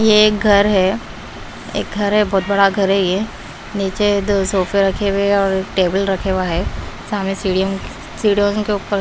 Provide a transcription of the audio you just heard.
ये एक घर है एक घर है बहुत बड़ा घर है ये नीचे दो सोफे रखे हुए है और एक टेबल रखे हुआ है सामने सीढ़ियों सीडयों के ऊपर--